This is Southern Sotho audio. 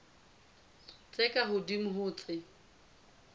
tse ka hodimo ho tse